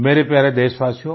मेरे प्यारे देशवासियो